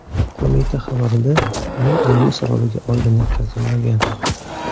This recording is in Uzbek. Qo‘mita xabarida uning o‘limi sababiga oydinlik kiritilmagan.